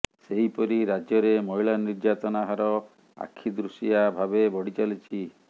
ସେହିପରି ରାଜ୍ୟରେ ମହିଳା ନିର୍ଯାତନା ହାର ଆଖିଦୃଶିଆ ଭାବେ ବଢ଼ିଚାଲିଛି